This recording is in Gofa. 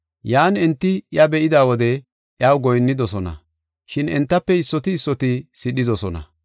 Yan enti iya be7ida wode iyaw goyinnidosona, shin entafe issoti issoti sidhidosona.